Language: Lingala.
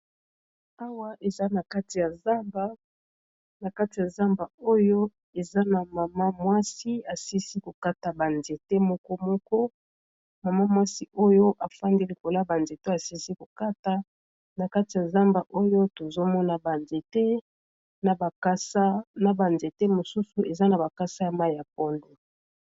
awa na kati ya zamba oyo eza na mama mwasi asilisi kokata banzete moko moko mama mwasi oyo afandelikola banzete asisi kokata na kati ya zamba oyo tozomona banzete na bakasa na banzete mosusu eza na bakasa ya mai ya polo